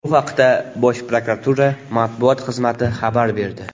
Bu haqda Bosh prokuratura matbuot xizmati xabar berdi .